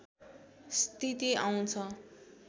स्थिति आउँछ